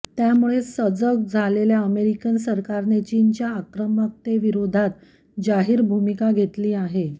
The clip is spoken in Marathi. त्यामुळे सजग झालेल्या अमेरिकन सरकारने चीनच्या आक्रमकतेविरोधात जाहीर भूमिका घेतली आहे